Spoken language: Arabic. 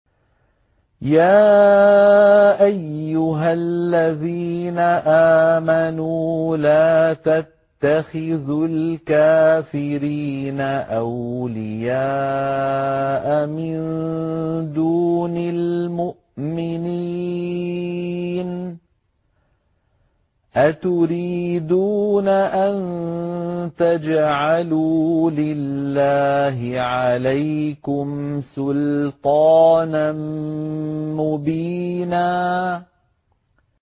يَا أَيُّهَا الَّذِينَ آمَنُوا لَا تَتَّخِذُوا الْكَافِرِينَ أَوْلِيَاءَ مِن دُونِ الْمُؤْمِنِينَ ۚ أَتُرِيدُونَ أَن تَجْعَلُوا لِلَّهِ عَلَيْكُمْ سُلْطَانًا مُّبِينًا